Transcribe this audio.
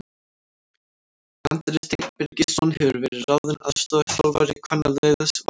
Andri Steinn Birgisson hefur verið ráðinn aðstoðarþjálfari kvennaliðs Vals.